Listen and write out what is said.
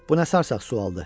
Bu nə sarsaq sualdır!